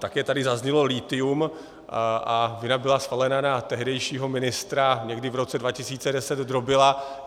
Také tady zaznělo lithium a vina byla svalena na tehdejšího ministra někdy v roce 2010, Drobila.